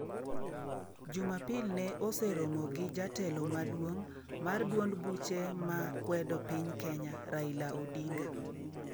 Jumapil ne oseromo gi jatelo maduong' mar duond buche ma kwedo piny Kenya, Raila Odinga.